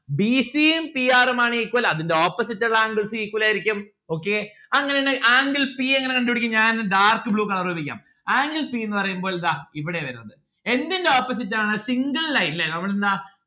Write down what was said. b c ഉം p r ഉമാണ് equal അതിന്റ opposite ഇള്ള angles equal ആയിരിക്കും. okay? അങ്ങനെ ആണേൽ angle p എങ്ങനെ കണ്ടുപിടിക്കും ഞാൻ ഇത് dark blue colour ഉപയോഗിക്കാം angle p ന്ന്‌ പറയുമ്പോൾ ദാ ഇവിടെ വരുന്നത്. എന്തിന്റെ opposite ആണ് single line ല്ലേ നമ്മൾ എന്താ